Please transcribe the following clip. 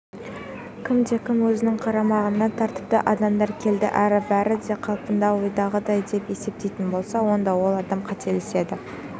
кімде-кім өзінің қарамағына тәртіпті адамдар келді әрі бәрі де қалпында ойдағыдай деп есептейтін болса онда ол адам қателеседі